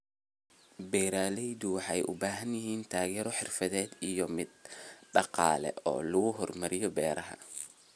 Beeraleydu waxay u baahan yihiin taageero xirfadeed iyo mid dhaqaale oo lagu horumarinayo beeraha.